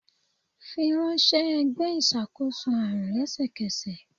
firanṣẹ ẹgbẹ iṣakoso arun lẹsẹkẹsẹ!